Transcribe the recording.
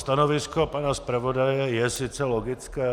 Stanovisko pana zpravodaje je sice logické.